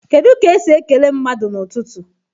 Kedu ka esi esi ekele mmadụ n'ụtụtụ?